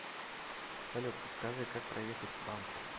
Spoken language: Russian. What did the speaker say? салют подскажи как проехать к банку